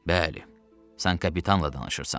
Bəli, sən kapitanla danışırsan.